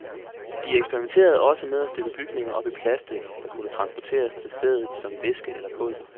De eksperimenterede også med at støbe bygningerne op i plastic, der kunne transporteres til stedet som væske eller pulver.